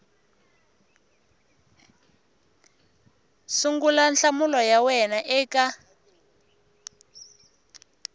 sungula nhlamulo ya wena eka